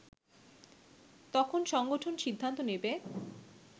তখন সংগঠন সিদ্ধান্ত নেবে